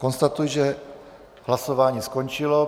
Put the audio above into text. Konstatuji, že hlasování skončilo.